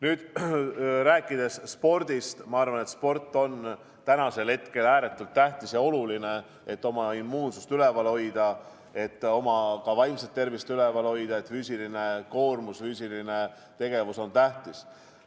Nüüd, rääkides spordist, ma arvan, et sport on praegu ääretult tähtis ja oluline, et oma immuunsust üleval hoida ja ka oma vaimset tervist hoida, sest füüsiline koormus ja igasugune füüsiline tegevus on tähtis.